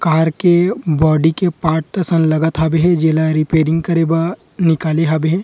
car के body के part सन लगत हावे हे जेला रिपेरिंग करे बा निकाले हावे --